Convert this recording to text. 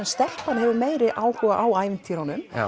stelpan hefur meiri áhuga á ævintýrunum